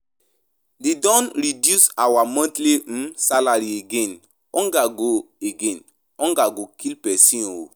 De don reduce our monthly salary again. Hunger go kill person oo.